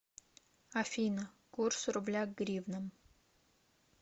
афина курс рубля к гривнам